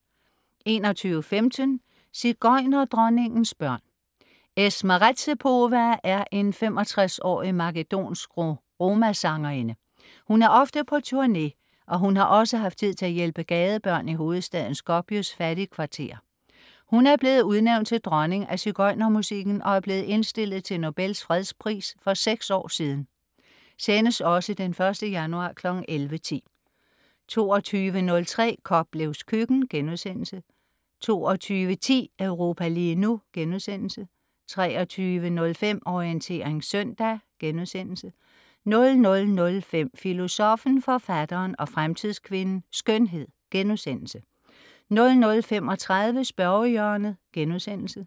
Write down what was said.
21.15 Sigøjnerdronningens børn. Esma Redzepova er en 65-årig makedonsk roma-sangerinde. Hun er ofte på turné, og hun har også haft tid til at hjælpe gadebørn i hovedstaden Skopjes fattigkvarterer. Hun er blevet udnævnt til dronning af sigøjnermusikken og er blevet indstillet til Nobels Fredspris for seks år siden (Sendes også 1. januar 11.10) 22.03 Koplevs køkken* 22.10 Europa lige nu* 23.05 Orientering søndag* 00.05 Filosoffen, Forfatteren og Fremtidskvinden - Skønhed* 00.35 Spørgehjørnet*